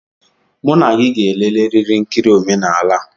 Mụ na gị ga-eleleriri nkiri omenala a!